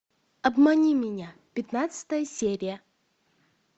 обмани меня пятнадцатая серия